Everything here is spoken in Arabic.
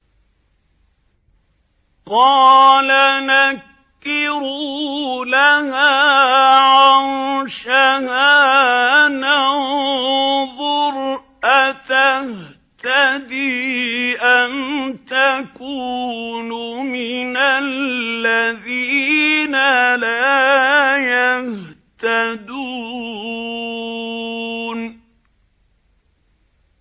قَالَ نَكِّرُوا لَهَا عَرْشَهَا نَنظُرْ أَتَهْتَدِي أَمْ تَكُونُ مِنَ الَّذِينَ لَا يَهْتَدُونَ